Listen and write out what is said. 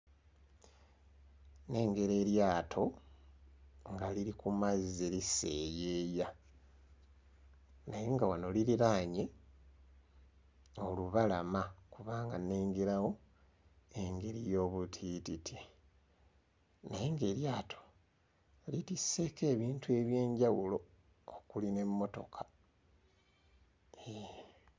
Nnengera eryato nga liri ku mazzi liseeyeeya naye nga wano liriraanye olubalama kubanga nnengerawo engeri y'obutiititi naye ng'eryato kitisseeko ebintu eby'enjawulo okuli n'emmotoka, hee.